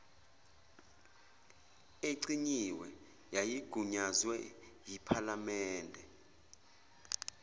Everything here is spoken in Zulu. ecinyiwe yayigunyazwe yiphalamende